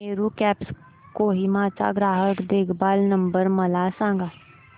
Meru cabs Kohima चा ग्राहक देखभाल नंबर मला सांगा